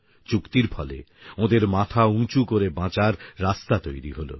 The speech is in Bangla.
চুক্তির ফলে ওঁদের মাথা উঁচু করে বাঁচার রাস্তা তৈরি হলো